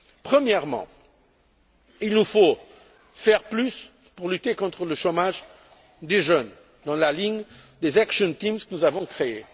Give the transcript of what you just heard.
Premièrement, il nous faut faire plus pour lutter contre le chômage des jeunes, dans la ligne des actions teams que nous avons créées.